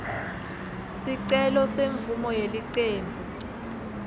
sicelo semvumo yelicembu